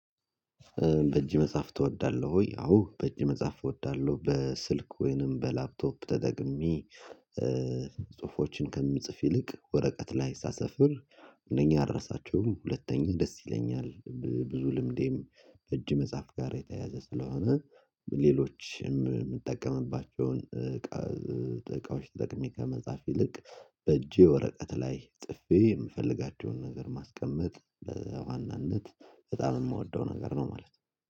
በእጅ መጽሐፍ ትወዳለህ ወይ? አዎ በእጅ መጻፍ እወዳለሁ በስልክ ወይንም በላፕቶፕ ተጠቅሜ። ጽሁፎችን ከምጽፍ ይልቅ ወረቀት ላይ ሳሰፍር እነኛ አድርሳችሁም ሁለተኛ ደስ ይለኛል። ብዙ ልምዴም በእጅ መጻፍ ጋር የተያዘ ስለሆነ። ሌሎችም የምንጠቀምባቸውን እቃዎች ተጠቅሜ ከመጻፍ ይልቅ። በእጄ ወረቀት ላይ ጽፌ የምፈልጋቸውን ነገር ማስቀመጥ ለዋናነት በጣም የምወደው ነገር ነው ማለት ነው